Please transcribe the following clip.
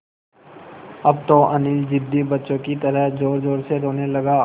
अब तो अनिल ज़िद्दी बच्चों की तरह ज़ोरज़ोर से रोने लगा